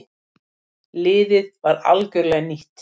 Liðið var algjörlega nýtt.